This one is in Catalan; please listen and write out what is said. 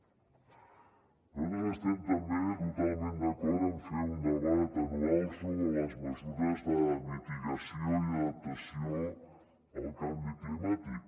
nosaltres estem també totalment d’acord en fer un debat anual sobre les mesures de mitigació i adaptació al canvi climàtic